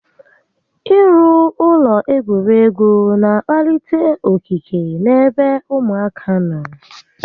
I rụ ụlọ egwuregwu n'akpalite okike n'ebe ụmụaka nọ